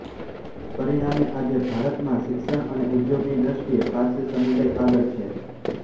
પરિણામે આજે ભારતમાં શિક્ષણ અને ઉધોગની દ્રષ્ટિએ પારસી સમુદાય આગળ છે